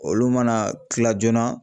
Olu mana kila joona